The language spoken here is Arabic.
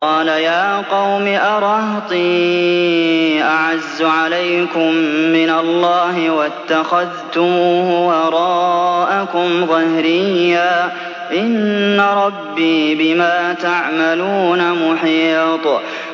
قَالَ يَا قَوْمِ أَرَهْطِي أَعَزُّ عَلَيْكُم مِّنَ اللَّهِ وَاتَّخَذْتُمُوهُ وَرَاءَكُمْ ظِهْرِيًّا ۖ إِنَّ رَبِّي بِمَا تَعْمَلُونَ مُحِيطٌ